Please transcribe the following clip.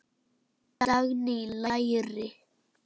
Dagný: Læri.